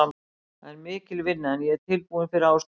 Það er mikil vinna en ég er tilbúinn fyrir áskorunina.